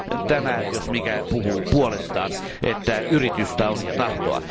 Tämä jos mikä puhuu puolestaan yritystä on ja tahtoa.